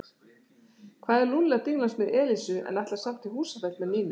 Hvað er Lúlli að dinglast með Elísu en ætlar samt í Húsafell með Nínu?